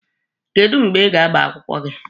Kedụ mgbe ị ga-agba akwụkwọ gị?